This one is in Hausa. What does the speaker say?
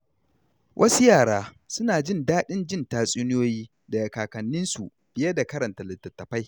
Wasu yara suna jin daɗin jin tatsuniyoyi daga kakanninsu fiye da karanta litattafai.